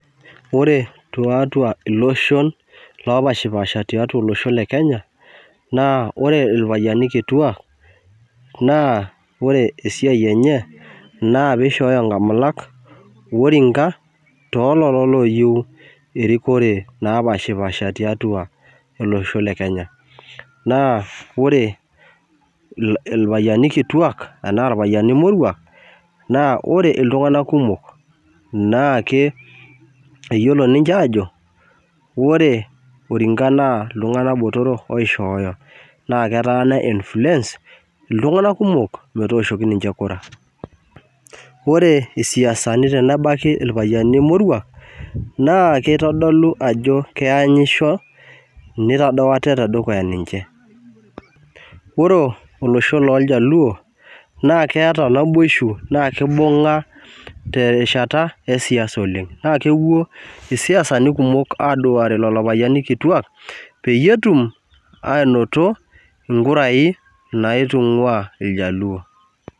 Ore tiatua iloshon oopashipaasha tiatua iloshon le Kenya naa ore irpayiani kituuak ore esiai enye naa peeishooyo nkamulak oringa too lelo ooyieu erikore naapashopaasha naa ore iltasati ore iltunganak kumok naa eyiolo aajo ore oringa naa iltunganak kituuak oishooyo naa eya ni{influence} iltunganak kumok metooshoki ninche Kura. Ore siasani tenebaiki irpayiani moruak naa keitodlu ajo keitadou ate te dukuya ninche. Ore olosho looljaluo naa keitodolu naboisho tenebau erishata e siasa oleng naa kepuo isiasani kumok aasuare lelo payiani kituuak pee etum aanoto inkurai naitungua iljaluo.